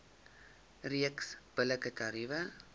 reeks billike tariewe